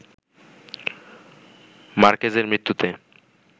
মার্কেজের মৃত্যুতে